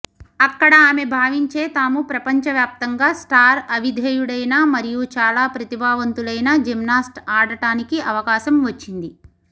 అక్కడ ఆమె భావించే తాము ప్రపంచవ్యాప్తంగా స్టార్ అవిధేయుడైన మరియు చాలా ప్రతిభావంతులైన జిమ్నాస్ట్ ఆడటానికి అవకాశం వచ్చింది